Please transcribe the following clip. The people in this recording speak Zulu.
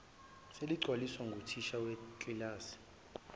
seligcwaliswa nguthisha wekilasi